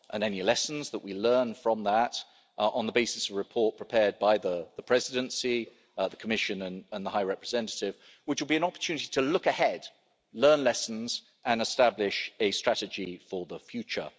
Any lessons that we learn from that on the basis of a report prepared by the Presidency, the Commission and the High Representative will be an opportunity to look ahead, learn lessons and establish a strategy for the future.